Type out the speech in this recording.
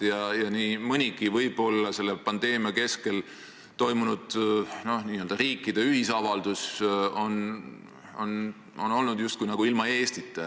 Nii mõnigi selle pandeemia keskel toimunud riikide ühisavaldus on olnud justkui ilma Eestita.